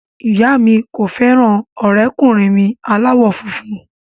Ìyá mi kò fẹ́ràn ọ̀rẹ́kùnrin mi aláwọ̀ funfun